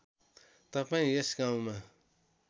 तपाईँ यस गाउँमा